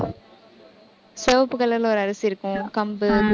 சிவப்பு color ல ஒரு அரிசி இருக்கும். கம்பு